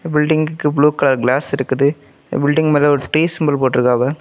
பில்டிங்க்கு blue colour glass இருக்குது building மேல ஒரு ட்ரீ சிம்பல் போட்ருக்காவா.